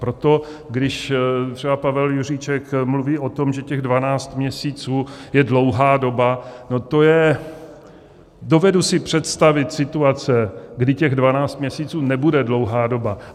Proto když třeba Pavel Juříček mluví o tom, že těch 12 měsíců je dlouhá doba, no, to je... dovedu si představit situace, kdy těch 12 měsíců nebude dlouhá doba.